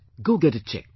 Go get it checked